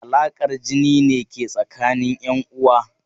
Alaƙar jini ne ke tsakanin 'yanuwa.